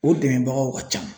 O dɛmɛbagaw ka can